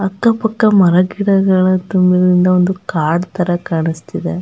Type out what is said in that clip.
ಅಕ್ಕ ಪಕ್ಕ ಮರಗಿಡಗಳು ತುಂಬಿರೋದಿಂದ ಒಂದು ಕಾಡು ತರ ಕಾಣಿಸ್ತಿದೆ .